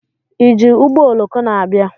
Iji ụgbọoloko na-abịa?